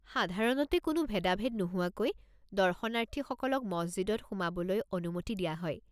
সাধাৰণতে কোনো ভেদাভেদ নোহোৱাকৈ দৰ্শনাৰ্থীসকলক মছজিদত সোমাবলৈ অনুমতি দিয়া হয়।